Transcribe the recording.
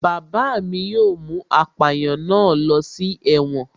Bàbá mi yóò mú apàyàn náà ló si ẹ̀wọ̀n